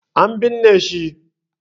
An binne shi.